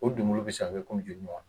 O donbolo bɛ se ka kɛ i komi joli ɲɔgɔnan?